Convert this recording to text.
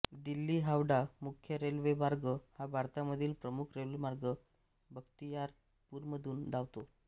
दिल्लीहावडा मुख्य रेल्वेमार्ग हा भारतामधील प्रमुख रेल्वेमार्ग बख्तियारपूरमधून धावतो